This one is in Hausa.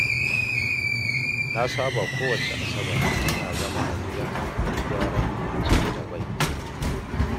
Na saba kowacce Asabar ina zama a gida na yi gyaran ciki da bai